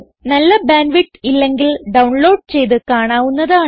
നല്ല bandwidth ഇല്ലെങ്കിൽ download ചെയ്ത് കാണാവുന്നതാണ്